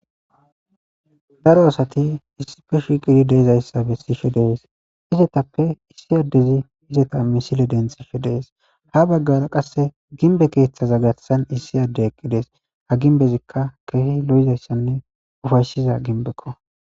daro asati issife shiiqidi deezayssa be sife dees hizetappe issi addezi hizeta misile denthife dees ha baggara qasse ginbe keeththaza gatsan issi adde ekqi dees ha ginbezikka keehi lo7izayssanne ufayshiza ginbekko